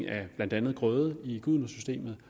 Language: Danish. af blandt andet grøde i gudenåsystemet